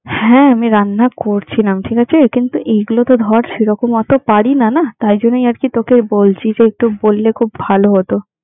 হ্যাঁ আমি রান্না করছিলাম ঠিক আছে? কিন্তু এইগুলো তো ধর সেরকম অত পারিনা না, তাইজন্যেই আর কি তোকে বলছি যে একটু বললে খুব ভালো হতো।